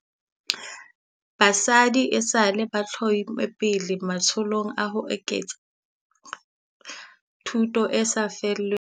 Batjha esale ba itlhomme pele matsholong a ho tseka thuto e sa lefellweng, le kgahlano le mathata a setjhabeng a kang dikgoka haholoholo kgahlano le basadi le banana.